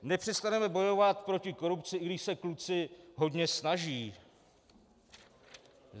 Nepřestaneme bojovat proti korupci, i když se kluci hodně snaží.